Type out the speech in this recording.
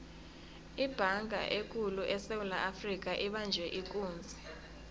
ibhanga ekulu esewula afrika ibanjwe ikunzi